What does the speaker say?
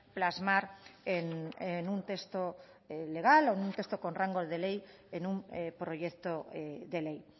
plasmar en un texto legal o un texto con rango de ley en un proyecto de ley